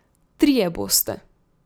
Trije boste.